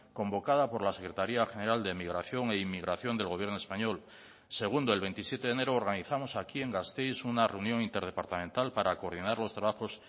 convocada por la secretaría general de emigración e inmigración del gobierno español segundo el veintisiete de enero organizamos aquí en gasteiz una reunión interdepartamental para coordinar los trabajos